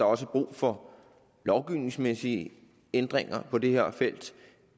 også brug for lovgivningsmæssige ændringer på det her felt